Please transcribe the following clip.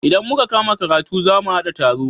Idan muka kama karatu za mu haɗa taro.